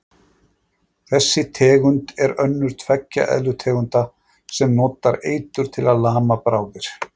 þessi tegund er önnur tveggja eðlutegunda sem notar eitur til að lama bráðir